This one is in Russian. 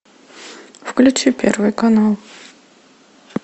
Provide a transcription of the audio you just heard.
включи первый канал